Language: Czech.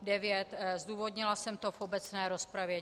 Zdůvodnila jsem to v obecné rozpravě.